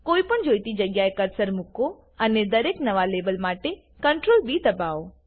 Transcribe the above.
કોઈપણ જોઈતી જગ્યાએ કર્સર મુકો અને દરેક નવા લેબલ માટે CtrlB દાબાવો